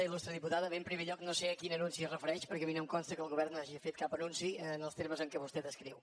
il·lustre diputada bé en primer lloc no sé a quin anunci es refereix perquè a mi no em consta que el govern hagi fet cap anunci en els termes en què vostè descriu